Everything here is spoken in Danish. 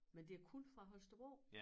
Men det er kun fra Holstebro